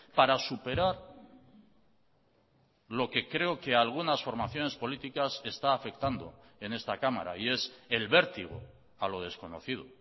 para superar lo que creo que a algunas formaciones políticas está afectando en esta cámara y es el vértigo a lo desconocido